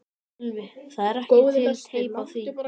Sölvi: Það er ekki til teip af því?